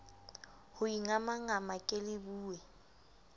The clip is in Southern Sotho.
ho ingamangama ke le bule